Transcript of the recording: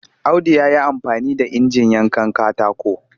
Audu ya yi amfani da injin yankan katako